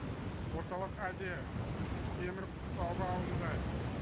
орталық азия темір құрсауға алынды